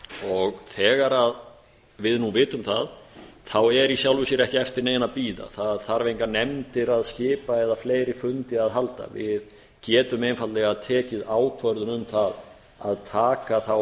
hundraðatali þegar við nú vitum það þá er í sjálfu sér ekki eftir neinu að bíða það þarf engar nefndir að skipa eða fleiri fundi að halda við getum einfaldlega tekið ákvörðun um það að taka þá